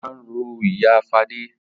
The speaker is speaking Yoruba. Ara ń ro ìyá Fadé.